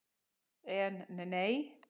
En, nei.